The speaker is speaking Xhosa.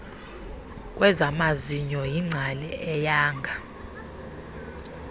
kwezamazinyo yingcali eyanga